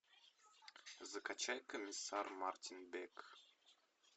закачать комиссар мартин бек